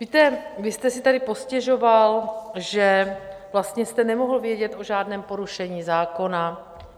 Víte, vy jste si tady postěžoval, že vlastně jste nemohl vědět o žádném porušení zákona.